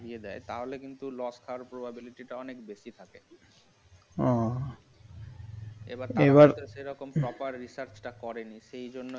দেয় তাহলে কিন্তু loss হওয়ার probability অনেক বেশি থাকে এবার এবার proper research টা করে সেই জন্যই